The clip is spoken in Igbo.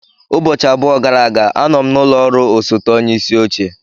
Ụbọchị abụọ gara aga, anọ m n'ụlọ ọrụ osote onye isi oche.